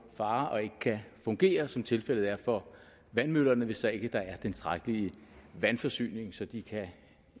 i fare og ikke kan fungere som tilfældet er for vandmøllerne hvis der ikke er tilstrækkelig vandforsyning så de